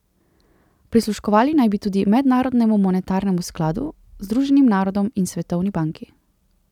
Prisluškovali naj bi tudi Mednarodnemu monetarnemu skladu, Združenim narodom in Svetovni banki.